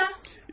Lizaveta!